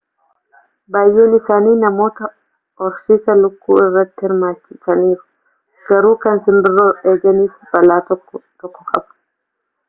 baay'een isaanii namoota horsiisa lukkuu irratti hirmaachisaniiru garuu kan simbirroo eeganiif balaa tokko tokko qaba